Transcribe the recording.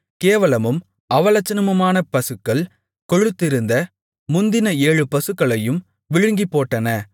கேவலமும் அவலட்சணமுமான பசுக்கள் கொழுத்திருந்த முந்தின ஏழு பசுக்களையும் விழுங்கிப்போட்டன